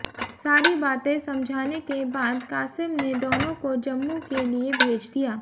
सारी बातें समझाने के बाद कासिम ने दोनों को जम्मू के लिए भेज दिया